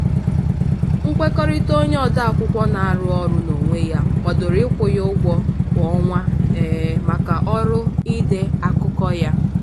nkwekọrịta onye ode akwụkwọ na-arụ ọrụ n'onwe ya kwadoro ịkwụ ya ụgwọ kwa ọnwa um maka ọrụ ide akụkọ ya.